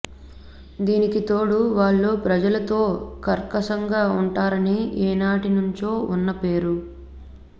దీనికి తోడు వాళ్లు ప్రజలతో కర్కశంగా ఉంటారని ఏనాటి నుంచో ఉన్న పేరు